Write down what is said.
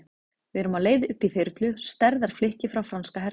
Við erum á leið upp í þyrlu, stærðar flikki frá franska hernum.